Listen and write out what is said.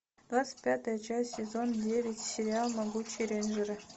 двадцать пятая часть сезон девять сериал могучие рейнджеры